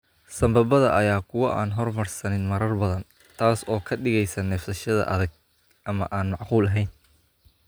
Sambabada ayaa ah kuwo aan horumarsanin marar badan, taas oo ka dhigaysa neefsashada adag ama aan macquul ahayn.